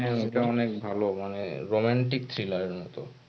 হ্যাঁ এটা অনেক ভালো মানে romantic thriller এর মতো